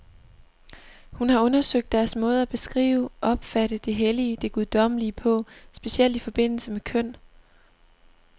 Hun har undersøgt deres måde at beskrive, opfatte det hellige, det guddommelige på, specielt i forbindelse med køn.